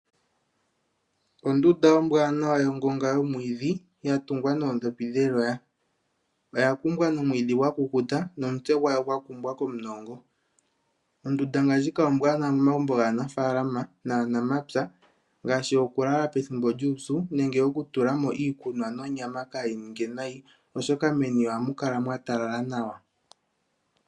Ondunda ombwanawa yongonga yomwiidhi ya tungwa noodhopi dheloya. Oya kumbwa nomwiidhi gwa kukuta nomutse gwayo gwa kumbwa komunongo. Ondunda ngaashi ndjika ombwanawa momagumbo gaanafalama naanamapya, ngaashi okulala pethimbo lyuupyu nenge okutula mo iikunwa nonyama kaa yi ninge nayi. Oshoka meni ohamu kala mwa talala nawa.